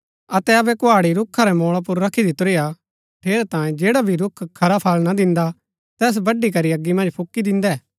अतै अबै कुहाड़ी रूखा रै मोळा पुर रखी दितुरी हा ठेरै तांयें जैडा भी रूख खरा फळ ना दिन्दा तैस बड्‍ड़ी करी अगी मन्ज फूकी दिन्दै